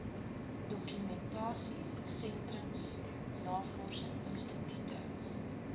dokumentasie sentrums navorsingsinstitute